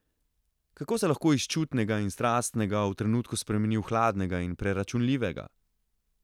Kako se lahko iz čutnega in strastnega v trenutku spremeni v hladnega in preračunljivega?